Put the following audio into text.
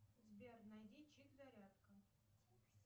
сбер найди чип зарядка